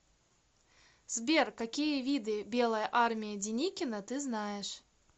сбер какие виды белая армия деникина ты знаешь